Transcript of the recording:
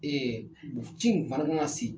Ɛɛ bon ci in fana kan ka se